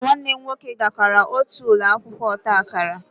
Mụ na nwanne m nwoke gakoro otu ụlọ akwụkwọ ọta akara